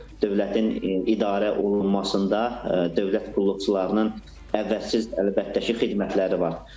Dövlətin idarə olunmasında dövlət qulluqçularının əvəzsiz, əlbəttə ki, xidmətləri var.